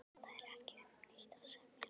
Það er ekki um neitt að semja